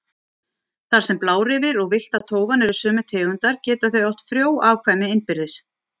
Þar sem blárefir og villta tófan eru sömu tegundar geta þau átt frjó afkvæmi innbyrðis.